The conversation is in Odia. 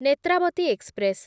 ନେତ୍ରାବତୀ ଏକ୍ସପ୍ରେସ୍